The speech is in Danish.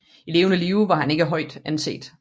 I levende live var han ikke højt anset